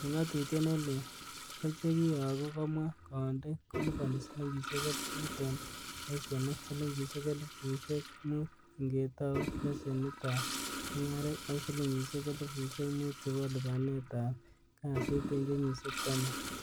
En ngatutiet ne leel kochekiyogu komwa koundi, koliponi silingisiek elfut en leshenit, silingisiek elfusiek mut ingetou leshenitab mungaret, ak silingisiek elfusiek mut chebo lipanet ab kasit en kenyisiek taman.